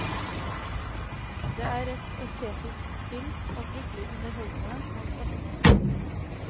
Det er et estetisk spill, og fryktelig underholdende og spennende.